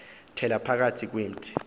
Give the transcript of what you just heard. thela phakathi kwemithi